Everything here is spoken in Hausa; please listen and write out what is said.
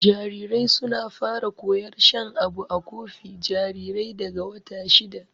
Jarirai suna fara koyar shan abu a kofi jarirai daga wata shida.